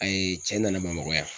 Ayi cɛ nana Bamakɔ yan.